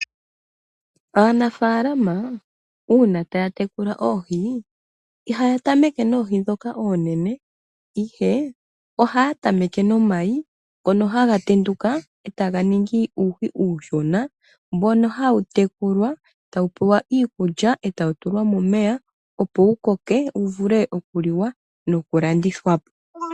Aanafaalama uuna taya tekula oohi ihaya tameke noohi ndhoka oonene, ihe ohaya tamene nomayi ngono haga tenduka etaganingi uuhi uushona mbono hawutekulwa etawutulwa momeya opo wukoke wuvulu okuliwa noku landithwapo.